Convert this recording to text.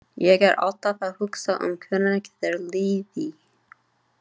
Ég er alltaf að hugsa um hvernig þér líði.